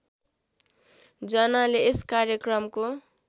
जनाले यस कार्यक्रमको